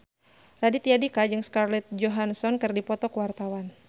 Raditya Dika jeung Scarlett Johansson keur dipoto ku wartawan